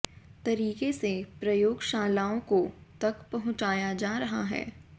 तरीके से प्रयोगशालाओं को तक पहुंचाया जा रहा है